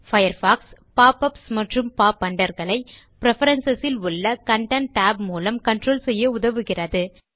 Firefox pop ups மற்றும் pop under களை preference ல் உள்ள கன்டென்ட் tab மூலம் கன்ட்ரோல் செய்ய உதவுகிறது